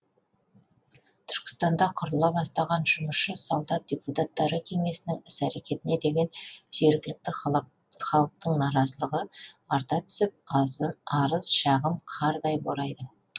түркістанда құрыла бастаған жұмысшы солдат депутаттары кеңесінің іс әрекетіне деген жергілікті халықтың наразылығы арта түсіп арыз шағым қардай борайды